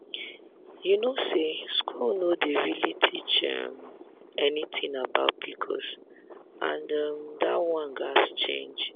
you know say school no dey really teach um anything about pcos and um that one gats change.